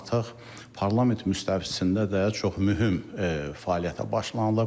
Artıq parlament müstəvisində də çox mühüm fəaliyyətə başlanılıb.